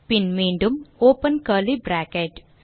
பின் மீண்டும் open curly bracket